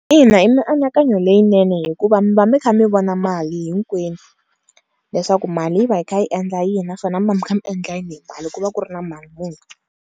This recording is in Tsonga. Ina i mianakanyo leyinene hikuva mi va mi kha mi vona mali hinkwenu leswaku mali yi va yi kha yi endla yini naswona mi va mi kha mi endla yini hi mali ku va ku ri na mali muni.